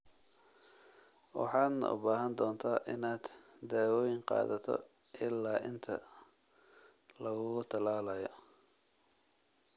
Waxaadna u baahan doontaa inaad daawooyin qaadato ilaa inta lagugu tallaalayo.